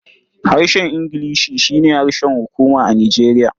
Harshen Ingilishi shi ne harshen hukuma a Nijeriya.